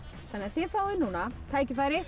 þið fáið núna tækifæri